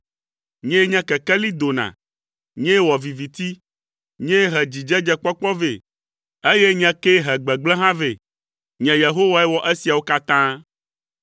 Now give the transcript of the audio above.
Nyee na kekeli dona. Nyee wɔ viviti. Nyee he dzidzedzekpɔkpɔ vɛ, eye nye kee he gbegblẽ hã vɛ. Nye Yehowae wɔ esiawo katã.